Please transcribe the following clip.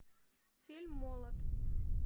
фильм молот